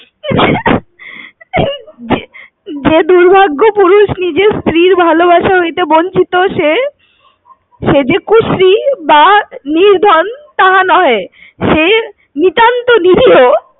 যে~যে দুর্ভাগ্য পুরুষ নিজের স্ত্রীর ভালোবাসা হইতে বঞ্চিত সে ~সে যে কুশ্রী বা নির্ধন তাহা নহে সে নিতান্ত নিরীহ।